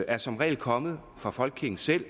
er som regel kommet fra folkekirken selv